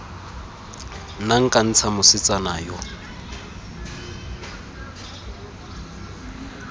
nna nka ntsha mosetsana yo